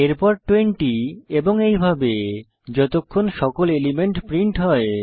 এরপর 20 এবং এইভাবে যতক্ষণ সকল এলিমেন্ট প্রিন্ট হয়